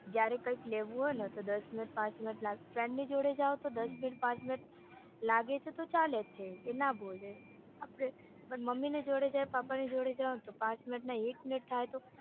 જયારે કાંઈ લેવું હોયને તો દસ પાંચ મિનિટ લાગે friend ની જોડે દસ મિનિટ પાંચ મિનિટ લાગે છે તો ચાલે છે એ ના બોલે મમ્મી ની જોડે જઇયે પ્પાની જોડે જાઈયે તો પાંચ મિનિટ ને એક મિનિટ થાય તો